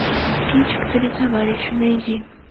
кинчик три товарища найди